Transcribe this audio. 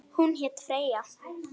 Hún hét Freyja.